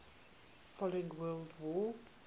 following world war